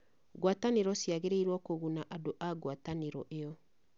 Ngwatanĩro ciagĩrĩirũo kũguna andũ a ngwatanĩro ĩyo